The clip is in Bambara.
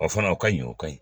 O fana o ka ɲi o ka ɲi